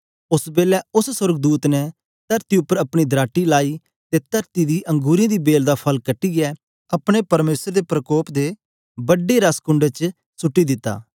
ओस बेलै उस्स सोर्गदूत ने तरती उपर अपनी दराटी लाइ ते तरती दी अंगुरें दी बेल दा फल कटीयै अपने परमेसर दे प्रकोप दे बड्डे रसकुंड च सुट्टी दिता